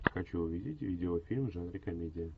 хочу увидеть видеофильм в жанре комедия